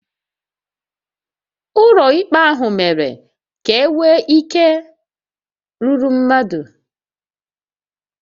Ụlọ ikpe ahụ mere ka e nwee ike rúrú mmadụ